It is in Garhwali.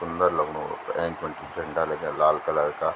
सुन्दर लगणु ऐंच पर झंडा लग्याँ लाल कलर का।